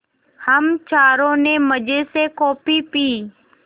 हम चारों ने मज़े से कॉफ़ी पी